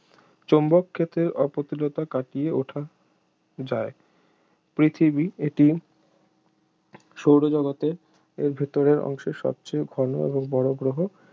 চৌম্বক ক্ষেত্রের অপ্রতুলতা কাটিয়ে উঠা যায় পৃথিবী এটি সৌরজগতের এর ভেতরের অংশের সবচেয়ে ঘন এবং বড় গ্রহ